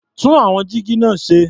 Tún àwọn jígí náà ṣe.